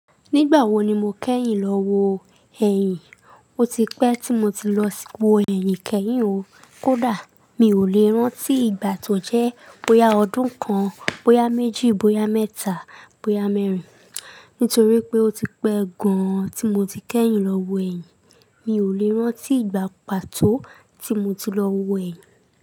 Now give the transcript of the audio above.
Nígbà wo ni mo kẹ́yìn lọ wo ẹyìn? Ó ti pẹ́ tí mo ti lọ wo ẹyìn kẹ́yìn o. Kódà mi ò lè rántí ìgbà tó jẹ́ bóyá ọdún kan, bóyá méjì, bóyá mẹ́ta, bóyá mẹ́rin. Nítorí pé ó ti pẹ́ gan-an tí mo ti kẹ́yìn lọ wo ẹyìn. Mi ò lè ránti ìgbà pàtó tí mo ti lọ wo ẹyìn.